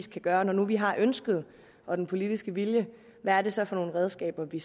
skal gøre når nu vi har ønsket og den politiske vilje hvad er det så for nogle redskaber vi